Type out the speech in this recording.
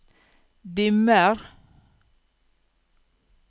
dimmer